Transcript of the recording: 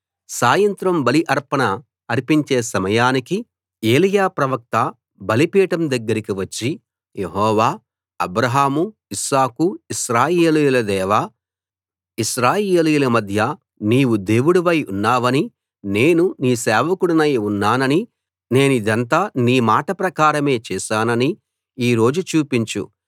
సాయంత్ర బలి అర్పణ అర్పించే సమయానికి ఏలీయా ప్రవక్త బలిపీఠం దగ్గరికి వచ్చి యెహోవా అబ్రాహాము ఇస్సాకు ఇశ్రాయేలుల దేవా ఇశ్రాయేలీయుల మధ్య నీవు దేవుడవై ఉన్నావనీ నేను నీ సేవకుడనై ఉన్నాననీ నేనిదంతా నీ మాట ప్రకారమే చేశాననీ ఈ రోజు చూపించు